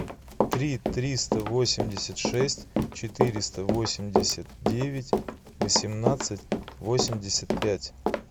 три триста восемьдесят шесть четыреста восемьдесят девять восемнадцать восемьдесят пять